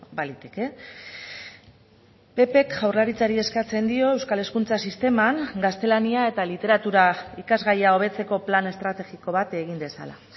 baliteke ppk jaurlaritzari eskatzen dio euskal hezkuntza sisteman gaztelania eta literatura ikasgaia hobetzeko plan estrategiko bat egin dezala